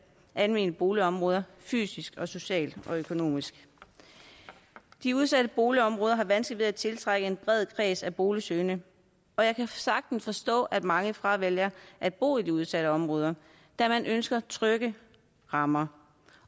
almene boligområder fysisk socialt og økonomisk de udsatte boligområder har vanskeligt ved at tiltrække en bred kreds af boligsøgende og jeg kan sagtens forstå at mange fravælger at bo i de udsatte områder da man ønsker trygge rammer